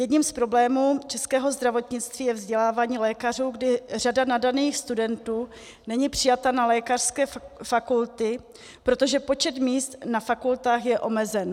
Jedním z problémů českého zdravotnictví je vzdělávání lékařů, kdy řada nadaných studentů není přijata na lékařské fakulty, protože počet míst na fakultách je omezen.